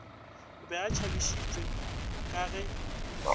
be a tšhabišitšwe ka ge